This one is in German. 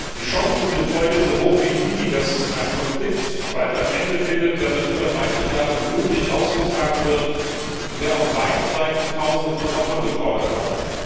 Die Chancen sind heute so hoch wie nie, dass ein Konflikt bald ein Ende findet, der seit über 30 Jahren blutig ausgetragen wird und der auf beiden Seiten Tausende von Opfern gefordert hat.